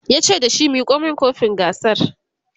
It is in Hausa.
yace da shi"Miko min kofin gasar!"